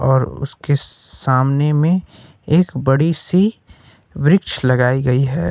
और उसके सामने मे एक बड़ी सी वृक्ष लगाई गई है।